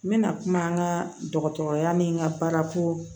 N bɛna kuma an ka dɔgɔtɔrɔya ni n ka baarako